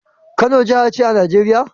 Kano jahace a casar Nigeria?